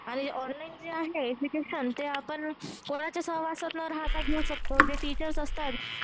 आणि ऑनलाईन जे आहे आपण कोणाच्या सहवासात न राहता घेऊ शकतो. जे टीचर असतात